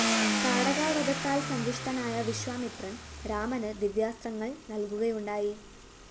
താടകാവധത്താല്‍ സന്തുഷ്ടനായ വിശ്വാമിത്രന്‍ രാമന് ദിവ്യാസ്ത്രങ്ങള്‍ നല്‍കുകയുണ്ടായി